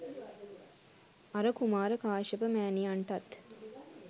අර කුමාර කාශ්‍යප මෑණියන්ටත්